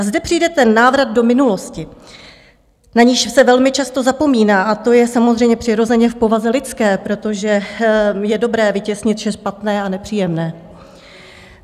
A zde přijde ten návrat do minulosti, na niž se velmi často zapomíná, a to je samozřejmě přirozeně v povaze lidské, protože je dobré vytěsnit vše špatné a nepříjemné.